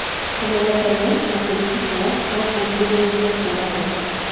Kũmenyeka tene na kũrigitwo no kũgirĩrĩrie kũra maitho.